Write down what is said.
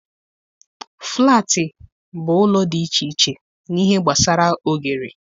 Flaatị bụ ụlọ dị iche iche n'ihe gbasara oghere.